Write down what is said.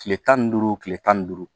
Tile tan ni duuru tile tan ni duuru